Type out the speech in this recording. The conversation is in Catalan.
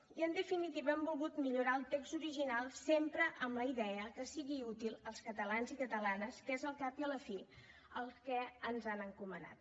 i en definitiva hem volgut millorar el text original sempre amb la idea que sigui útil als catalans i catalanes que és al cap i a la fi el que ens han encomanat